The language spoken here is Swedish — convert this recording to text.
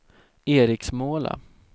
Eriksmåla